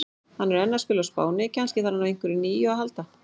Hann er enn að spila á Spáni, kannski þarf hann á einhverju nýju að halda?